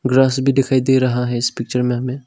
Grass भी दिखाई दे रहा है इस पिक्चर में हमें।